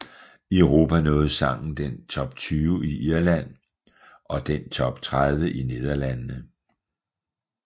I Europa nåede sangen den Top 20 i Irland og den Top 30 i Nederlandene